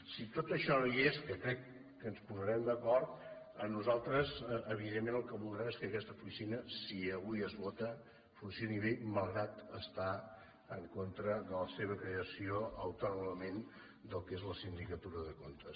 si tot això no hi és que crec que ens posarem d’acord nosaltres evidentment el que voldrem és que aquesta oficina si avui es vota funcioni bé malgrat estar en contra de la seva creació autònomament del que és la sindicatura de comptes